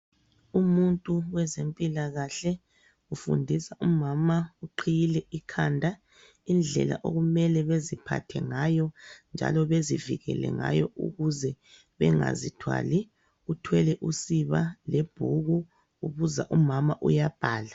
Umuntu wezempilakahle ufundisa umama uqhiyile ikhanda, indlela okumele beziphathe ngayo njalo bezivikele ngayo ukuze bengazithwali. Uthwele usiba lebhuku ubuza umama, uyabhala.